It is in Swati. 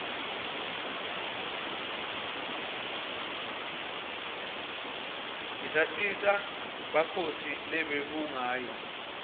isatisa ngenbze bakhosi lobebungayo